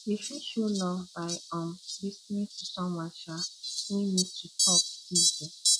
you fit show love by um lis ten ing to someone um wey need to talk give you